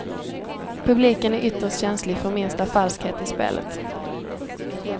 Publiken är ytterst känslig för minsta falskhet i spelet.